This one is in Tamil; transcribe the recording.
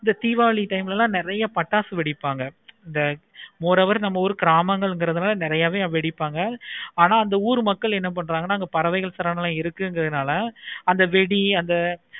இந்த diwali time ல நெறைய பட்டாசு வைப்பாங்க இந்த ஒரு hour நம்ம ஊர் கிராமங்கள்னால நெறைய பெரு வெடிப்பாங்க. ஆனா அந்த ஆவூரு மக்கள் என்ன பண்ணுவாங்கன அங்க பறவைகள் புறாக்கள் இருக்குனால அந்த வேண்டிய